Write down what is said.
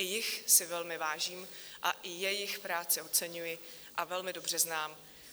I jich si velmi vážím a i jejich práci oceňuji a velmi dobře znám.